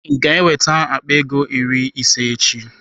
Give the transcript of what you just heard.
Ị ga-eweta akpa ego iri ịse echi?